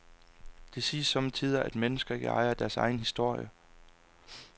Det siges somme tider, at mennesker ikke ejer deres egen historie.